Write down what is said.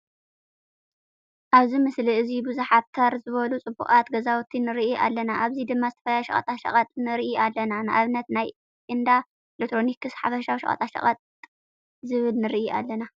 ኣብዚ ምስሊ እዚ ቡዙሓት ተር ዝበሉ ፅቡቃት ገዛውቲ ንርኢ ኣለና። ኣብዚ ድማ ዝተፈላለዩ ሸቀጣሸቀጥ ንርኢ ኣለና። ንኣብነት ናይ እንዳኤሌክትሮኒክስ፣ ሓፈሻዊ ሸቀጣሸቀጥ ዝብል ንርኢ ኣለና።